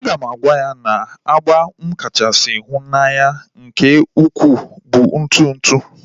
A ga m agwa ya na agba m kachasị hu n'anya nke ukwu bụ ntụ ntụ